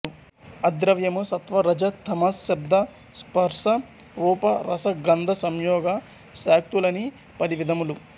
అద్రవ్యము సత్వ రజః తమః శబ్ద స్పర్స రూప రస గంధ సంయోగ శాక్తులని పది విధములు